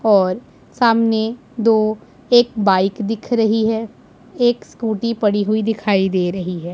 और सामने दो एक बाइक दिख रही है एक स्कूटी पड़ी हुई दिखाई दे रही है।